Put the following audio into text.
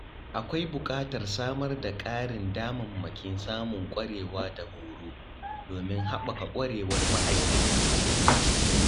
Akwai buƙatar samar da ƙarin damammakin samun ƙwarewa da horo, domin haɓaka ƙwarewar ma’aikata.